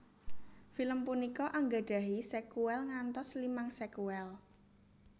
Film punika anggadhahi sekuèl ngantos limang sekuèl